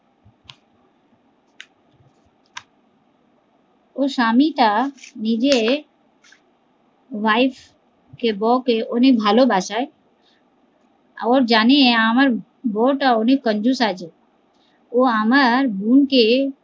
ওর স্বামী টা নিজের wife কে বৌ কে অনেক ভালোবাসায়, ও জানে আমার বৌ টা অনেক আছে